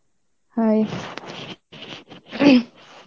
hi